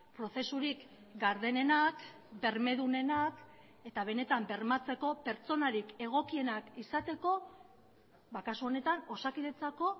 prozesurik gardenenak bermedunenak eta benetan bermatzeko pertsonarik egokienak izateko kasu honetan osakidetzako